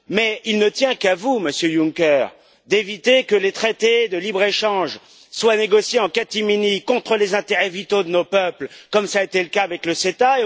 Mais il ne tient qu'à vous, Monsieur Juncker, d'éviter que les traités de libre échange soient négociés en catimini contre les intérêts vitaux de nos peuples, comme cela a été le cas avec le CETA.